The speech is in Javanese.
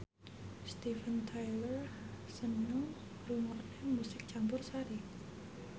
Steven Tyler seneng ngrungokne musik campursari